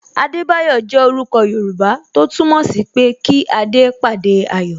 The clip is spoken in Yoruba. Adebayo jẹ orúkọ Yoruba tó túmọ̀ sí pé kí adé pàdé ayọ̀